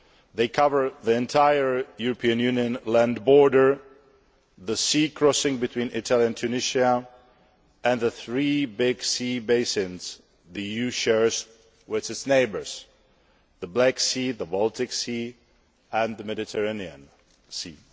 They cover the entire European Union land border, the sea crossing between Italy and Tunisia and the three big sea basins that the EU shares with its neighbours the Black Sea, the Baltic Sea and the Mediterranean Sea.